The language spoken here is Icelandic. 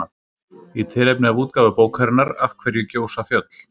Í tilefni af útgáfu bókarinnar Af hverju gjósa fjöll?